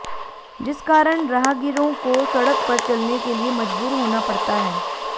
जिस कारण राहगीरों को सड़क पर चलने के लिए मजबूर होना पड़ता है